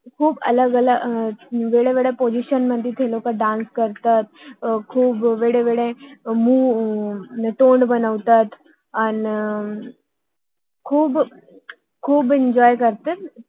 खूप वेगवेगळ्या position position मध्ये ते डान्स dance करतात आह खूप वेगवेगळे अर तोंड बनवतात अह आणि खूप एन्जॉय enjoy करतात